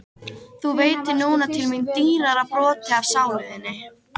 Þú veitir núna til mín dýrara broti af sálu þinni.